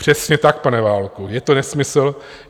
Přesně tak, pane Válku, je to nesmysl.